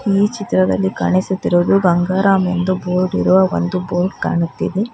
ಈ ಚಿತ್ರದಲ್ಲಿ ಕಾಣಿಸುತ್ತಿರುವುದು ಗಂಗರಾಮ್ ಎಂದು ಬೋರ್ಡ್ ಇರುವ ಒಂದು ಬೋರ್ಡ್ ಕಾಣುತ್ತಿದೆ.